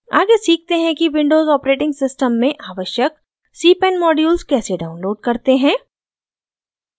आगे सीखते हैं विंडोज़ ऑपरेटिंग सिस्टम में आवश्यक cpan मॉड्यूल्स कैसे डाउनलोड करते हैं